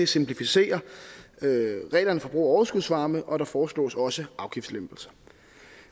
simplificerer reglerne for brug af overskudsvarme og der foreslås også afgiftslempelser